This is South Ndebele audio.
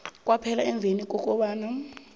kwaphela emveni kobana